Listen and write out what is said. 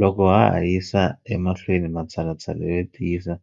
Loko ha ha yisa emahlweni matshalatshala yo tiyisa